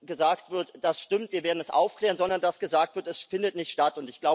gesagt wird Das stimmt, wir werden es aufklären, sondern dass gesagt wird Es findet nicht statt.